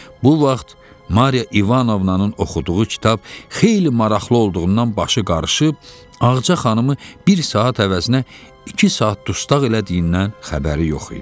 Bu vaxt Mariya İvanovnanın oxuduğu kitab xeyli maraqlı olduğundan başı qarışıb, Ağca xanımı bir saat əvəzinə iki saat dustaq elədiyindən xəbəri yox idi.